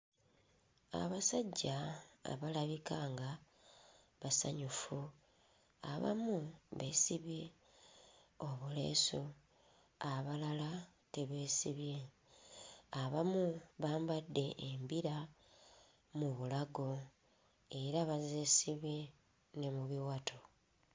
Abasajja abalabika nga basanyufu abamu beesibye obuleesu, abalala tebeesibye. Abamu bambadde embira mu bulago era bazeesibye ne mu biwato.